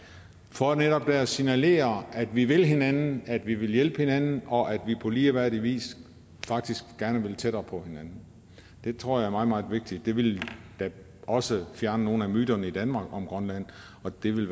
for netop der at signalere at vi vil hinanden at vi vil hjælpe hinanden og at vi på ligeværdig vis faktisk gerne vil tættere på hinanden det tror jeg er meget meget vigtigt det ville da også fjerne nogle af myterne i danmark om grønland og det ville